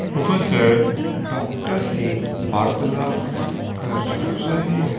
वह डॉक्टर से वार्तालाप कर रहे हैं।